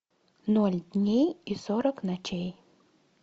ноль дней и сорок ночей